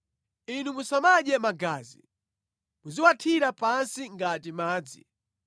Inu musamadye magazi, muziwathira pansi ngati madzi.